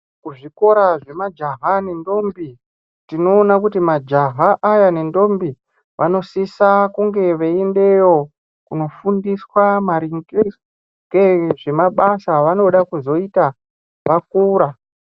Kuzvikora zvemaja nendombi tinoona kuti majaha aya nendombi tinoona kuti vanosisa kunge veyiendeyo kunofundiswa maringe ngezve mabasa avonoda kuzoita vakura.